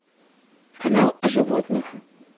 канал о животных